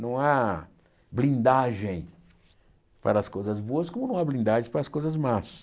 Não há blindagem para as coisas boas como não há blindagem para as coisas más.